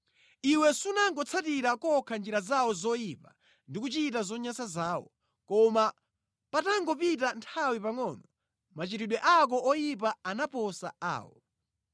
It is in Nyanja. Iwe sunangotsatira kokha njira zawo zoyipa ndi kuchita zonyansa zawo, koma patangopita nthawi pangʼono machitidwe ako oyipa anaposa awo.